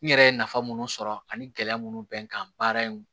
N yɛrɛ ye nafa minnu sɔrɔ ani gɛlɛya munnu bɛ n kan baara in